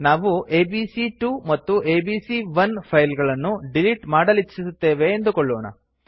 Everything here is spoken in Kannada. ನಾವು ಎಬಿಸಿ2 ಮತ್ತು ಎಬಿಸಿ1 ಫೈಲ್ ಗಳನ್ನು ಡಿಲಿಟ್ ಮಾಡಲಿಚ್ಛುಸುತ್ತೇವೆ ಎಂದುಕೊಳ್ಳೋಣ